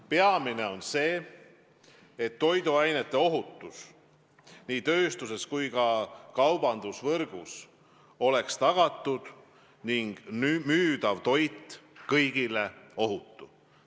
Peamine on see, et tagatud oleks toiduainete ohutus nii tööstuses kui ka kaubandusvõrgus ning et müüdav toit oleks kõigile ohutu.